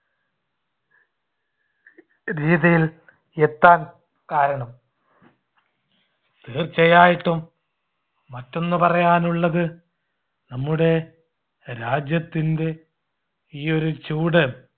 രീതിയിൽ എത്താൻ കാരണം. തീർച്ചയായിട്ടും മറ്റൊന്ന് പറയാനുള്ളത് നമ്മുടെ രാജ്യത്തിൻടെ ഈ ഒരു ചൂട്